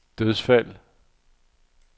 dødsfald